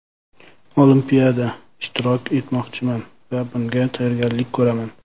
Olimpiada ishtirok etmoqchiman va bunga tayyorgarlik ko‘raman.